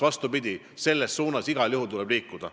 Vastupidi, selles suunas tuleb igal juhul liikuda.